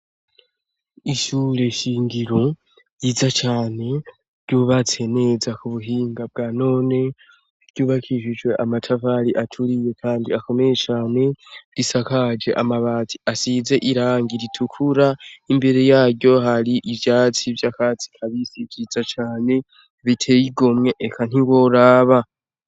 Ishure shingiro yiza cane ryubatse neza ku buhinga bwa none ryubakishijwe amatavali aturiye, kandi akomeye cane risakaje amabati asize iranga ritukura imbere yaryo hari ivyatsi vy'akatsi ka bisi vyiza cane biteyigomwe eka ntiboraba.